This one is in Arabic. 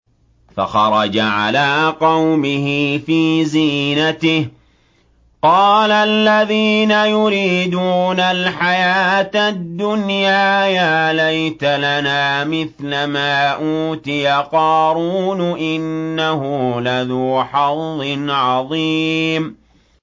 فَخَرَجَ عَلَىٰ قَوْمِهِ فِي زِينَتِهِ ۖ قَالَ الَّذِينَ يُرِيدُونَ الْحَيَاةَ الدُّنْيَا يَا لَيْتَ لَنَا مِثْلَ مَا أُوتِيَ قَارُونُ إِنَّهُ لَذُو حَظٍّ عَظِيمٍ